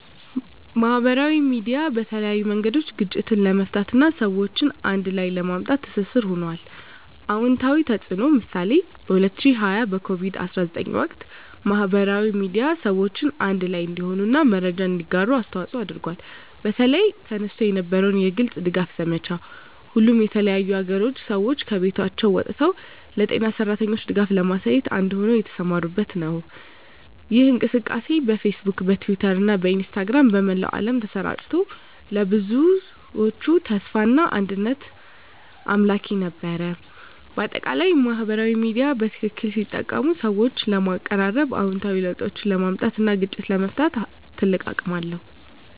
ማህበራዊ ሚዲያ በተለያዩ መንገዶች ግጭትን ለመፍታት እና ሰዎችን አንድ ላይ ለማምጣት ትስስር ሆኗል። #*አዎንታዊ ተፅዕኖ (ምሳሌ) በ2020 በኮቪድ-19 ወቅት፣ ማህበራዊ ሚዲያ ሰዎችን አንድ ላይ እንዲሆኑ እና መረጃን እንዲያጋሩ አስተዋፅዖ አድርጓል። በተለይ፣ ተነስቶ የነበረው የግልጽ ድጋፍ ዘመቻ፣ ሁሉም የተለያዩ አገሮች ሰዎች ከቤቶቻቸው ወጥተው ለጤና ሠራተኞች ድጋፍ ለማሳየት አንድ ሆነው የተሰማሩበት ምሳሌ ነው። ይህ እንቅስቃሴ በፌስቡክ፣ በትዊተር እና በኢንስታግራም በመላው ዓለም ተሰራጭቶ፣ ለብዙዎች ተስፋና አንድነት አምላኪ ነበር። በአጠቃላይ፣ ማህበራዊ ሚዲያ በትክክል ሲጠቀም ሰዎችን ለማቀራረብ፣ አዎንታዊ ለውጦችን ለማምጣት እና ግጭቶችን ለመፍታት ትልቅ አቅም አለው።